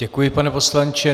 Děkuji, pane poslanče.